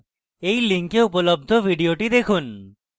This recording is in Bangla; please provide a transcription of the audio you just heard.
এই link উপলব্ধ video দেখুন